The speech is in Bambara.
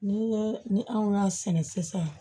Ni ye ni anw y'a sɛnɛ sisan